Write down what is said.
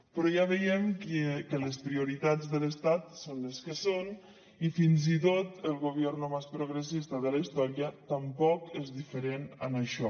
però ja veiem que les prioritats de l’estat són les que són i fins i tot el gobierno más progresista de la història tampoc és diferent en això